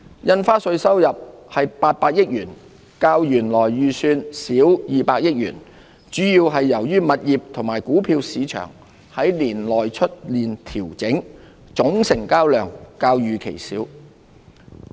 印花稅收入為800億元，較原來預算少200億元，主要由於物業和股票市場年內出現調整，總成交量較預期少。